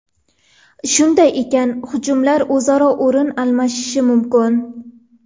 Shunday ekan, hujumchilar o‘zaro o‘rin almashishi mumkin.